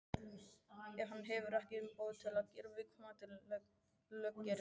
ef hann hefur ekki umboð til að gera viðkomandi löggerning.